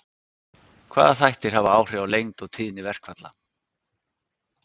Hvaða þættir hafa áhrif á lengd og tíðni verkfalla?